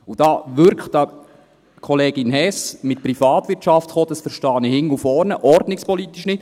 Und dass da Kollegin Hess mit Privatwirtschaft kommt, verstehe ich ordnungspolitisch hinten und vorne nicht.